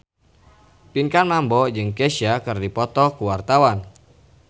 Pinkan Mambo jeung Kesha keur dipoto ku wartawan